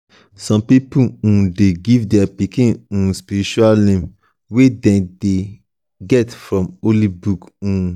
some pipo um de give their pikin um spiritual name wey them get from holy book um